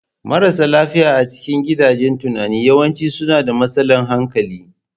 Marasa lafiya a cikin gidajen tunani yawanci suna da matsalar hankali.